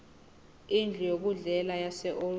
indlu yokudlela yaseold